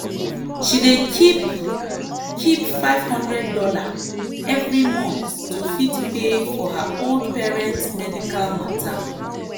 she dey keep keep five hundred dollar every month to fit pay for her old parents medical matter.